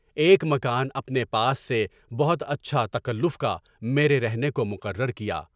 ایک مکان اپنے پاس سے بہت اچھا، تکلف کا میرے رہنے کو مقرر کیا۔